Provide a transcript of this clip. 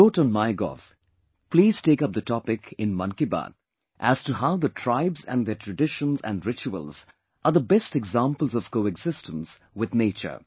He wrote on Mygov Please take up the topic "in Mann Ki Baat" as to how the tribes and their traditions and rituals are the best examples of coexistence with the nature